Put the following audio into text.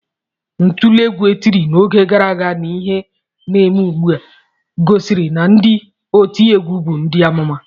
Ntule egwu e tiri n'oge gara aga na ihe na-eme ugbu a, gosiri na ndị otiegwu bụ ndị amụma